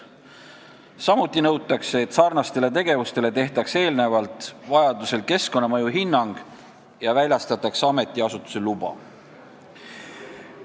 Samuti nõutakse, et sarnastele tegevustele tehtaks eelnevalt vajaduse korral keskkonnamõju hinnang ja väljastataks ametiasutuse luba.